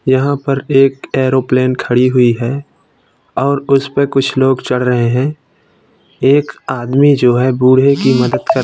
यहां पर एक एरोप्लेन खड़ी हुई है और उसपे कुछ लोग चढ़ रहे है। एक आदमी जो है बूढ़े की मदद कर --